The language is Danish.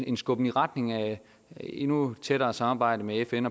en skubben i retning af et endnu tættere samarbejde med fn